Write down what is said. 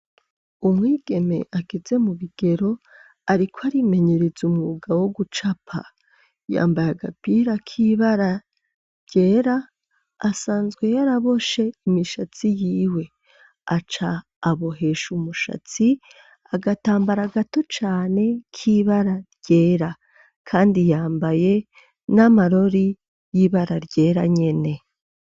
Umwigeme ageze mu bigero ariko arimenyereza umwuga wo gucapa, yambaye agapira k'ibara ryera, asanzwe yaraboshe imishatsi y'iwe, aca abohesha umushatsi agatambara gato cane k'ibara ryera, kandi yambaye n'amarori y'ibara ryera nyene.